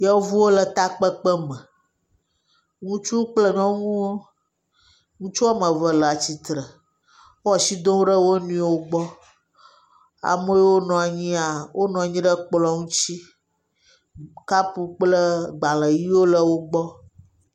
Yevuwo le takpekpeme. Ŋutsuwo kple nyɔnuwo. Ŋutsu woame ve le atsitre. Wo ashi dom ɖe woa nɔewo gbɔ. Ame yiwo nɔ anyia, wonɔ anyi ɖe kplɔ̃ ŋutsi. Kapu kple gbalẽ ʋiwo le wogbɔ.